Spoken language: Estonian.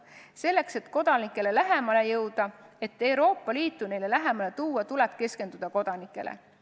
Selleks, et kodanikele lähemale jõuda, et Euroopa Liitu neile lähemale tuua, tuleb keskenduda kodanikele.